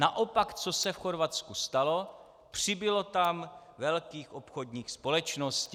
Naopak co se v Chorvatsku stalo - přibylo tam velkých obchodních společností.